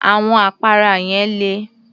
Àwọn àpárá yẹn le